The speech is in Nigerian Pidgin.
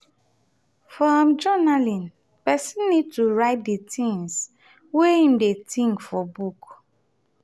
for um journaling person need to write di things wey im dey think for book